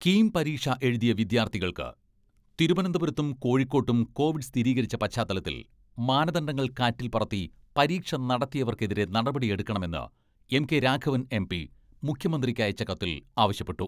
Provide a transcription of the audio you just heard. കീം പരീക്ഷ എഴുതിയ വിദ്യാർഥികൾക്ക് തിരുവനന്തപുരത്തും, കോഴിക്കോട്ടും കോവിഡ് സ്ഥിരീകരിച്ച പശ്ചാത്തലത്തിൽ മാനദണ്ഡങ്ങൾ കാറ്റിൽപ്പറത്തി പരീക്ഷ നടത്തിയവർക്കെതിരെ നടപടിയെടുക്കണമെന്ന് എം.കെ രാഘവൻ എം.പി മുഖ്യമന്ത്രിക്ക് അയച്ച കത്തിൽ ആവശ്യപ്പെട്ടു.